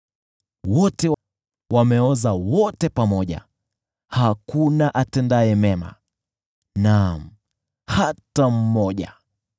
Wote wamepotoka, wameharibika wote pamoja, hakuna atendaye mema. Naam, hakuna hata mmoja!